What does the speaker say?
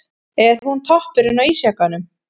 Er hún toppurinn á ísjakanum?